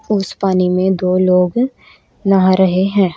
उस पानी में दो लोग नहा रहे हैं।